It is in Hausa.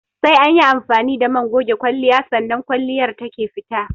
Sai anyi amfani da man goge kwalliya sannan kwalliyar take fita